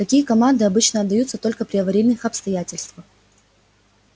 какие команды обычно отдаются только при аварийных обстоятельствах